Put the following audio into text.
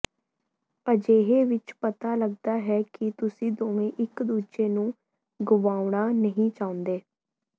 ਅਜਿਹੇ ਵਿਚ ਪਤਾ ਲੱਗਦਾ ਹੈ ਕਿ ਤੁਸੀਂ ਦੋਵੇ ਇਕ ਦੂਜੇ ਨੂੰ ਗੁਵਾਉਣਾ ਨਹੀਂ ਚਾਹੁੰਦੇ